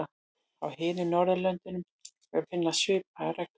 Á hinum Norðurlöndunum er að finna svipaðar reglur.